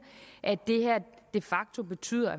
at det her de facto betyder